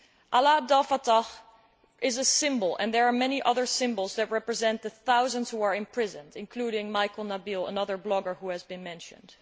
Alaa Abdel Fatah is a symbol and there are many other symbols that represent the thousands who are imprisoned including Maikel Nabil, another blogger who has been mentioned.